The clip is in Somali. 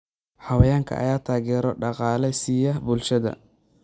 Xayawaankan ayaa taageero dhaqaale siiya bulshada.